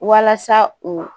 Walasa u